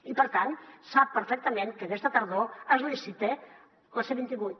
i per tant sap perfectament que aquesta tardor es licita la c vint vuit